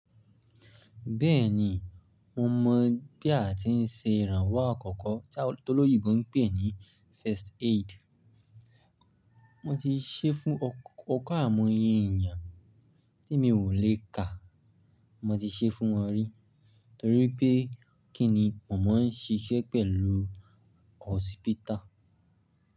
Bẹ́ẹ̀ni, mo mọ̀ bí a ti ń ṣe ìrànwọ́ àkọ́kọ́ tí awon oloyinbo ń pè ní first aid. Mo ti ṣe fún ọkẹ àimọ́yẹ ènìyàn tí mi ò lé ka, mo ti ṣe fún wọn rí torí pé kí ni màmá ń ṣiṣẹ́ pẹ̀lú hospital.